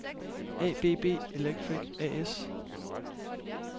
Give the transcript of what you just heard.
ABB Electric A/S